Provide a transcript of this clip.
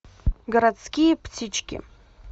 городские птички